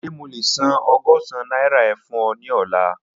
Ṣe mo le san ọgọ́sán naira e fun ọ ni ọla?